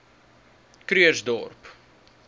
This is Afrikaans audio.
krugersdorp